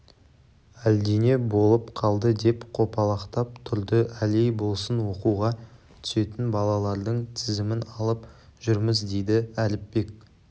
әлдене болып қалды деп қопалақтап тұрды әлей болсын оқуға түсетін балалардың тізімін алып жүрміз дейді әліпбек